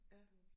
Ja